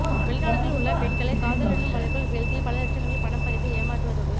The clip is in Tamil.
வெளிநாடுகளில் உள்ள பெண்களை காதல் எனும் வலைக்குள் வீழ்த்தி பல லட்சங்களில் பணம் பறித்து ஏமாற்றுவதோடு